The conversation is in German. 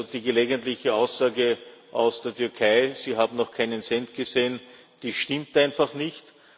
ist. Die gelegentliche Aussage aus der Türkei, sie habe noch keinen Cent gesehen, stimmt einfach nicht.